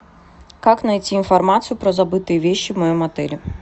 как найти информацию про забытые вещи в моем отеле